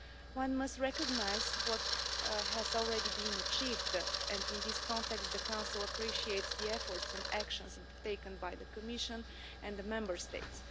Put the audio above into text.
One must recognise what has already been achieved and, in this context, the Council appreciates the efforts and actions taken by the Commission and the Member States.